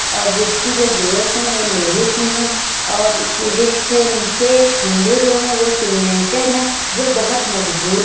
और ब्रिज की जो गेल्स है वो लोहे की हैं और नीचे खम्भे जो हैं वो सीमेंटेड हैं जो बहोत मजबूत --